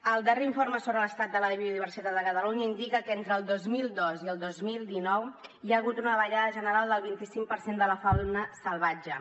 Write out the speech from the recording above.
el darrer informe sobre l’estat de la biodiversitat de catalunya indica que entre el dos mil dos i el dos mil dinou hi ha hagut una davallada general del vint cinc per cent de la fauna salvatge